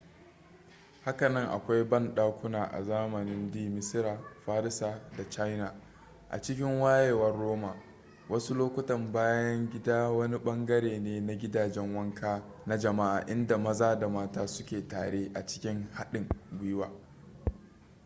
hakanan akwai bandakuna a zamanin d misira farisa da china a cikin wayewar roman wasu lokuta bayan gida wani bangare ne na gidajen wanka na jama'a inda maza da mata suke tare a cikin haɗin gwiwa